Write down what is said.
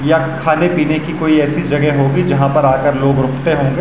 या खाने-पिने की कोई ऐसी जगह होगी जहाँ पर आकर लोग रुकते होंगे।